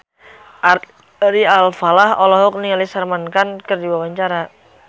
Ari Alfalah olohok ningali Salman Khan keur diwawancara